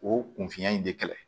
O kun fiɲɛ in de kɛlɛ